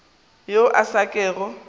yo a sa kego a